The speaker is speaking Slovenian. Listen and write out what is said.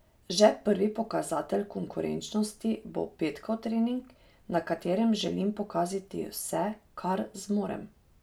Že prvi pokazatelj konkurenčnosti bo petkov trening, na katerem želim pokazati vse, kar zmorem.